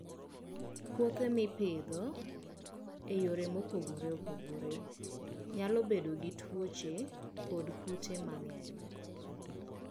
Puothe ma ipidho e yore mopogore opogore nyalo bedo gi tuoche kod kute mang'eny.